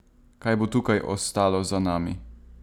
Kaj bo tukaj ostalo za nami?